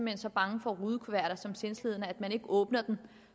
er så bange for rudekuverter som sindslidende at man ikke åbner dem